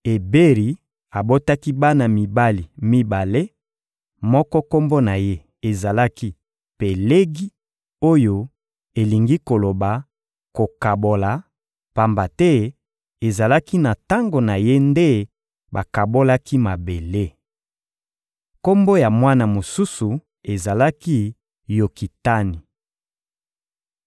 Eberi abotaki bana mibali mibale; moko, kombo na ye ezalaki «Pelegi» oyo elingi koloba: Kokabola; pamba te ezalaki na tango na ye nde bakabolaki mabele. Kombo ya mwana mosusu ezalaki «Yokitani.»